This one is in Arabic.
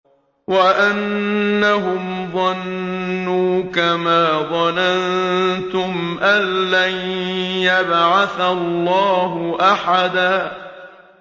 وَأَنَّهُمْ ظَنُّوا كَمَا ظَنَنتُمْ أَن لَّن يَبْعَثَ اللَّهُ أَحَدًا